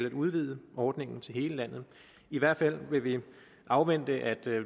at udvide ordningen til hele landet i hvert fald vil vi afvente at